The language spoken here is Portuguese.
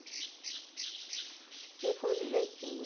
E ele falou, de jeito nenhum.